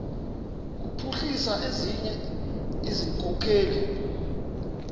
kuphuhlisa ezinye izikhokelo